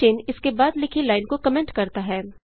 चिन्ह इसके बाद लिखी लाइन को कमेंट करता है